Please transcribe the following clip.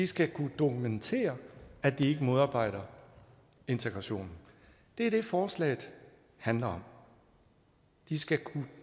skal kunne dokumentere at de ikke modarbejder integrationen det er det forslaget handler om de skal kunne